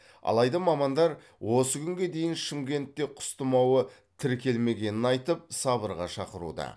алайда мамандар осы күнге дейін шымкентте құс тымауы тіркелмегенін айтып сабырға шақыруда